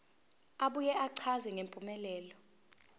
abuye achaze ngempumelelo